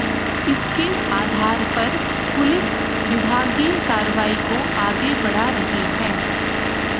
इसके आधार पर पुलिस विभागीय कार्रवाई को आगे बढ़ा रही है